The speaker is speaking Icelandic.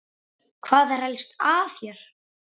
Hvað er helst að hér?